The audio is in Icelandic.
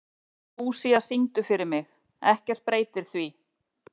Lúísa, syngdu fyrir mig „Ekkert breytir því“.